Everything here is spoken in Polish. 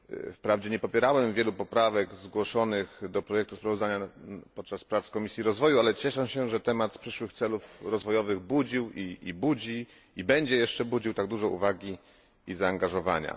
Wprawdzie nie popierałem wielu poprawek zgłoszonych do projektu sprawozdania podczas prac Komisji Rozwoju, ale cieszę się, że temat przyszłych celów rozwojowych budził, budzi i będzie jeszcze budził tak dużo uwagi i zaangażowania.